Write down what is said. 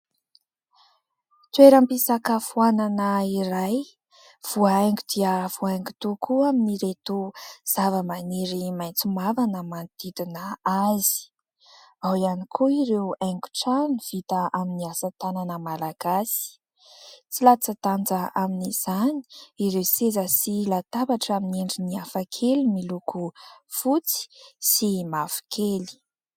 Toeram-pisakafoanana iray, voahaingo dia voahaingo tokoa, amin'ireto zavamaniry maitso mavana manodidina azy. Ao ihany koa ireo haingon-trano vita amin'ny asatanana malagasy. Tsy latsa-danja amin'izany ireo seza sy latabatra amin'ny endriny hafakely, miloko fotsy sy mavokely.